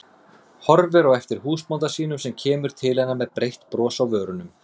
Horfir á eftir húsbónda sínum sem kemur til hennar með breitt bros á vörunum.